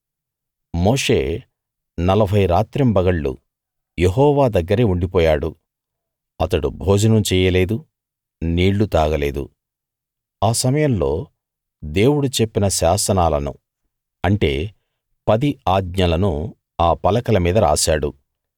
మోషే నలభై రాత్రింబగళ్ళు యెహోవా దగ్గరే ఉండిపోయాడు అతడు భోజనం చెయ్యలేదు నీళ్ళు తాగలేదు ఆ సమయంలో దేవుడు చెప్పిన శాసనాలను అంటే పది ఆజ్ఞలను ఆ పలకల మీద రాశాడు